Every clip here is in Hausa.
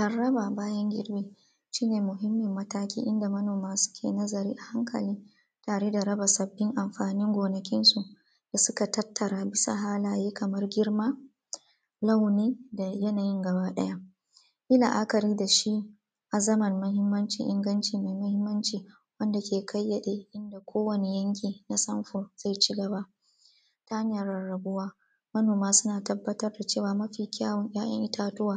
Rarraba bayan girbi, shi ne muhimmin mataki inda manoma suke nazari a hankali Tare da raba sabbin amfanin gonansu da suka tattara bisa halaye kamar girma, launi da yanayin gaba ɗaya. Yi la’akari da shi a zaman mahimmaci inganci mai muhimmanci, wanda ke kayyade na kowane yanki na samfur zai cigaba. Ta hanyar rarrabuwa manoma suna tabbatar da cewa, mafi kyawon ‘ya’yan itatuwa,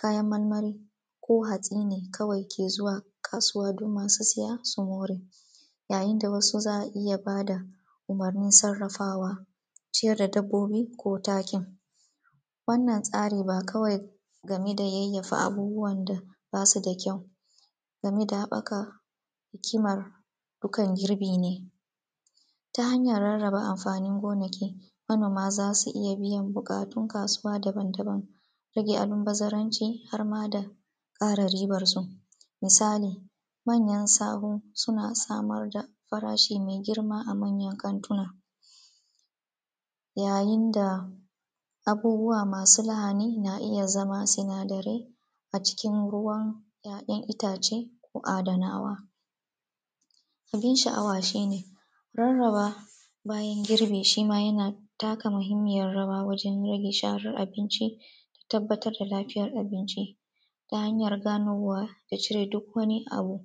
kayan marmari ko hatsi ne kawai ke zuwa kasuwa don masu saya su more, yayin da wasu za a iya ba da umurnin sarrafawa, ciyar da dabbobi ko takin. Wannan tsarin ba kawai game da yayyafa abubuwan da basu da kyau, tgame da haɓakar hikimar girbi ne. ta hanyar rarraba amfanin gonaki manoma za su iya biyan buƙatun kasuwa daban-daban, rage almubazaranci har ma da ƙara riban su. Misali manyan sahu, suna samar da farashi mai girma a manyan kantuna, yayin da abubuwa masu lahani na iya zama sinadarai, a cikin ruwan ‘ya’yan itace ko adanawa. Gunin sha’awa shi ne rarrabawa bayan girbi shi ma yana taka muhimmiyar rawa wajen gare sharen abinci tabbatar dalafiyar abinci ta hanyar ganowa da cire duk wani abu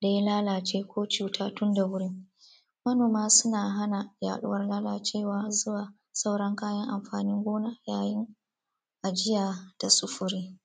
da ya lalace ko cuta tun da wuri. Manoma suna hana yaɗur lalacewa har zuwa sauran kayan amfanin gona yayin ajiya da sufuri.